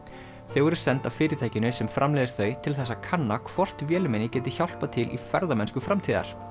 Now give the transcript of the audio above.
þau voru send af fyrirtækinu sem framleiðir þau til þess að kanna hvort vélmenni geti hjálpað til í ferðamennsku framtíðar